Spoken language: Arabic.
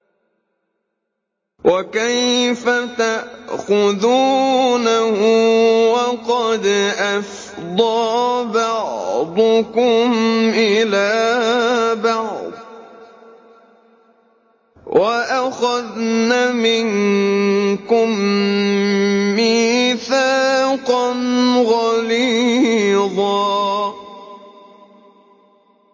وَكَيْفَ تَأْخُذُونَهُ وَقَدْ أَفْضَىٰ بَعْضُكُمْ إِلَىٰ بَعْضٍ وَأَخَذْنَ مِنكُم مِّيثَاقًا غَلِيظًا